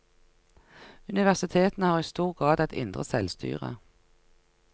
Universitetene har i stor grad et indre selvstyre.